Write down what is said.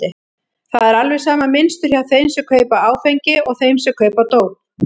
Það er alveg sama mynstur hjá þeim sem kaupa áfengi og þeim sem kaupa dóp.